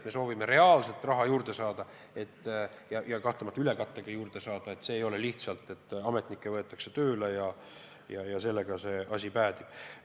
Me soovime reaalselt raha juurde saada, seejuures n-ö ülekattega juurde saada, ent see ei ole lihtsalt nii, et ametnikke võetakse tööle ja sellega asi päädib.